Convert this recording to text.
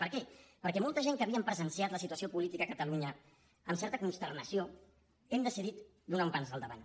per què perquè molta gent que havíem presenciat la situació política a catalunya amb certa consternació hem decidit donar un pas endavant